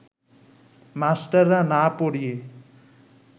মাস্টাররা না পড়িয়ে